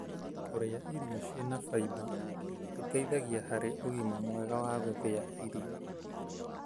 kũrĩa irio ciĩna faimba nguteithagia harĩ ũgima mwega wa gũthia irio.